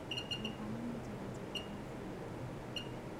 Gũthoma nĩ njira njega ya kũibundithĩa